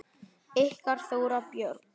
Ykkar Þóra Björk.